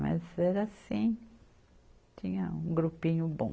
Mas era assim, tinha um grupinho bom.